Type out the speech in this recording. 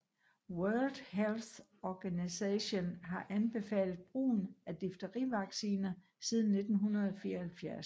World Health Organisation har anbefalet brugen af Difterivacciner siden 1974